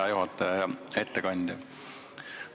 Hea juhataja ja ettekandja!